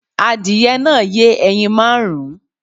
Adìyẹ náà yẹ ẹyin márùn-ún